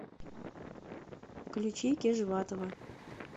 включи кежватова